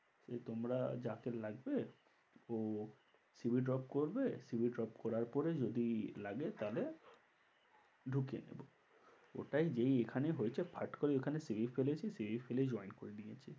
যে তোমরা যাকে লাগবে ও CV drop করবে CV drop করার পরে যদি লাগে তাহলে ঢুকিয়ে নেবো। ওটাই যেই এখানে হয়েছে ফট করে ওখানে CV ফেলেছি CV ফেলেই join করে নিয়েছি।